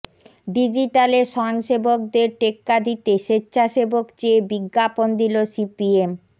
ডিজিটালে স্বয়ংসেবকদের টেক্কা দিতে স্বেচ্ছাসেবক চেয়ে বিজ্ঞাপন দিল সিপিএম